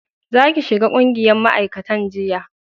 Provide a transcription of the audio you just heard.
za ki shiga ƙungiyar ma'aikatan jinya